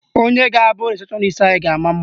Onye ga-abụ rịsepshọnis anyị ga-ama mma.